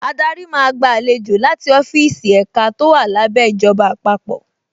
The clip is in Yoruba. Adarí máa gba àlejò láti ọ́fíìsì ẹ̀ka tó wà lábẹ́ ìjọba àpapọ̀